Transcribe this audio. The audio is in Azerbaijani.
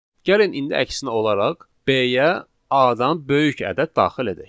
Gəlin indi əksinə olaraq, B-yə A-dan böyük ədəd daxil edək.